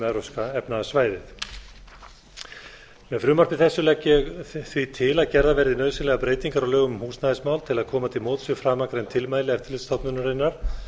evrópska efnahagssvæðið með frumvarpi þessu legg ég því til að gerðar verði nauðsynlegar breytingar á lögum um húsnæðismál til að koma til móts við framangreind tilmæli eftirlitsstofnunarinnar